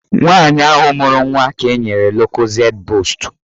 Nwaanyị ahụ mụrụ nwa ka enyere lokozed boostu